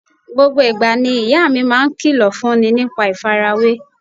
Gbogbo ìgbà ni ìyá mi máa ń kìlọ̀ fún ní nípa ìfarawé